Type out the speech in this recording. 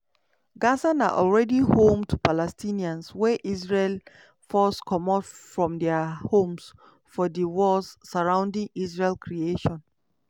gaza na already home to palestinians wey israel force comot from dia homes for di wars surrounding israel creation.